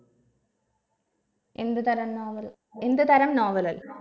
എന്ത് തരം novel എന്ത് തരം novel ൽ